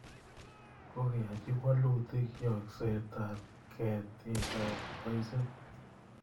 Kokeyochi walutiik yokseetab ketiikab loiseet.